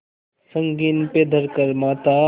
संगीन पे धर कर माथा